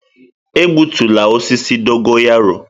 Egbutula osisi dogo yaro.